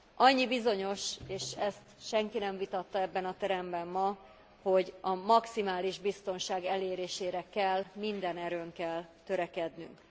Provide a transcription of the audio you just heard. Annyi bizonyos, és ezt senki nem vitatta ebben a teremben ma, hogy a maximális biztonság elérésére kell minden erőnkkel törekednünk.